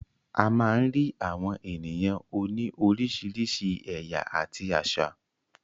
A má ń rí àwọn ènìyàn òní oríṣiríṣi ẹ̀yà àti àṣà.